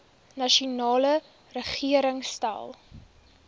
nasionale regering stel